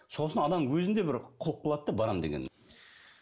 сосын адам өзінде бір құлық болады да барамын деген